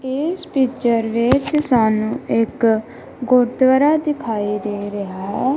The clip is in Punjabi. ਏਸ ਪਿਕਚਰ ਵਿੱਚ ਸਾਨੂੰ ਇੱਕ ਗੁਰੂਦਵਾਰਾ ਦਿਖਾਈ ਦੇ ਰਿਹਾ ਹੈ।